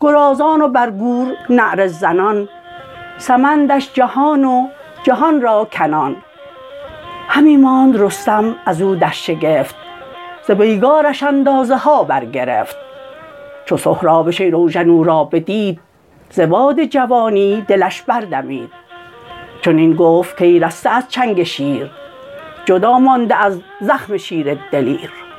گرازان و بر گور نعره زنان سمندش جهان و جهان راکنان همی ماند رستم ازو در شگفت ز پیگارش اندازه ها برگرفت چو سهراب شیراوژن او را بدید ز باد جوانی دلش بردمید چنین گفت کای رسته از چنگ شیر جدا مانده از زخم شیر دلیر